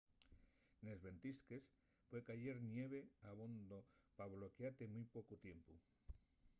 nes ventisques pue cayer ñeve abondo pa bloquiate en mui pocu tiempu